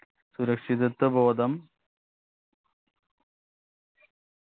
സുരക്ഷിത്വ ബോധം